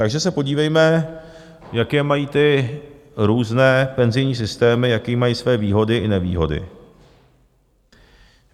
Takže se podívejme, jaké mají ty různé penzijní systémy, jaké mají své výhody i nevýhody.